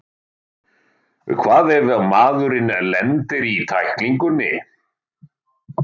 Hvað ef maðurinn lendir í tæklingunni?